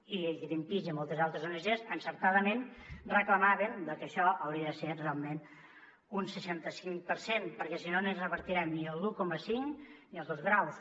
i greenpeace i moltes altres ongs encertadament reclamaven que això hauria de ser realment un seixanta cinc per cent perquè si no no revertirem ni l’un coma cinc ni els dos graus